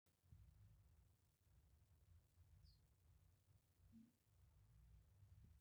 ijio kenyaaka olmalimui le gym aton eitu elotu aitaas yiok training